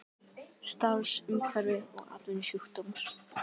Starfsumhverfi og atvinnusjúkdómar.